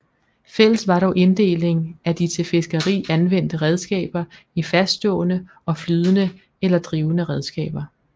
Fælles var dog inddelingen af de til fiskeri anvendte redskaber i faststående og flydende eller drivende redskaber